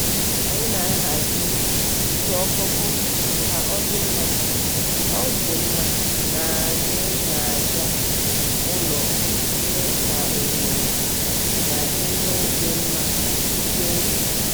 anyị na-ahazi ite okoko ka ọ dị mma ọ dị mma n'anya n'aja ụlọ iji mee ka ohere na ihe ịdị mma dikwuo elu.